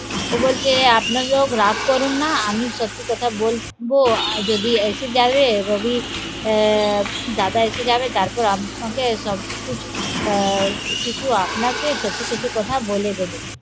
ও বলছে আপনারাও রাগ করুন না আমি সত্যি কথা বলব যদি এসে যাবে রবি আহ দাদা এসে যাবে, তারপর আমি তোমাকে সব ঠিক আহ কিছু আপনাকে সত্যি সত্যি কথা বলে দেবো